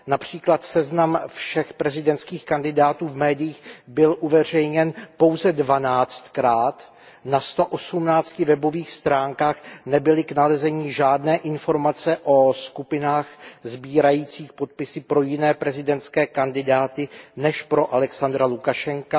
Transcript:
Například seznam všech prezidentských kandidátů v médiích byl uveřejněn pouze dvanáctkrát, na sto osmnácti webových stránkách nebyly k nalezení žádné informace o skupinách sbírajících podpisy pro jiné prezidentské kandidáty než pro Alexandra Lukašenka.